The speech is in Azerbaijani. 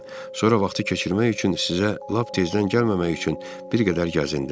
Sonra vaxtı keçirmək üçün sizə lap tezdən gəlməmək üçün bir qədər gəzindim.